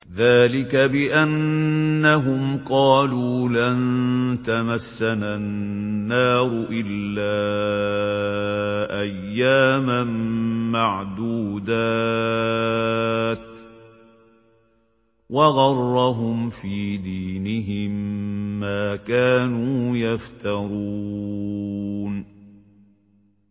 ذَٰلِكَ بِأَنَّهُمْ قَالُوا لَن تَمَسَّنَا النَّارُ إِلَّا أَيَّامًا مَّعْدُودَاتٍ ۖ وَغَرَّهُمْ فِي دِينِهِم مَّا كَانُوا يَفْتَرُونَ